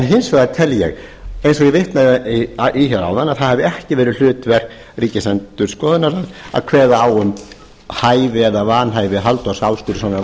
hins vegar tel ég eins og ég vitnaði hér áðan að það hafi ekki verið hlutverk ríkisendurskoðunar að kveða á um hæfi eða vanhæfi halldórs ásgrímssonar